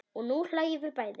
Og nú hlæjum við bæði.